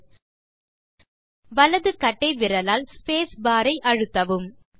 மீது வலது கட்டை விரலால் ஸ்பேஸ் பார் ஐ அழுத்தவும்